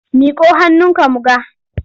Miƙo hannunka mu ga!